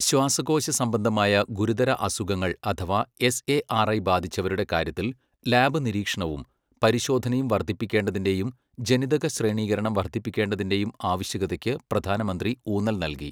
ശ്വാസകോശ സംബന്ധമായ ഗുരുതര അസുഖങ്ങൾ അഥവാ എസ്എആർഐ ബാധിച്ചവരുടെ കാര്യത്തിൽ ലാബ് നിരീക്ഷണവും പരിശോധനയും വർധിപ്പിക്കേണ്ടതിന്റെയും ജനിതകശ്രേണീകരണം വർധിപ്പിക്കേണ്ടതിന്റെയും ആവശ്യകതയ്ക്കു പ്രധാനമന്ത്രി ഊന്നൽ നൽകി